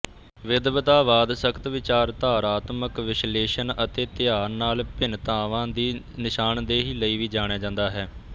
ਵਿਦਵਤਾਵਾਦ ਸਖਤ ਵਿਚਾਰਧਾਰਾਤਮਕ ਵਿਸ਼ਲੇਸ਼ਣ ਅਤੇ ਧਿਆਨ ਨਾਲ ਭਿੰਨਤਾਵਾਂ ਦੀ ਨਿਸ਼ਾਨਦੇਹੀ ਲਈ ਵੀ ਜਾਣਿਆ ਜਾਂਦਾ ਹੈ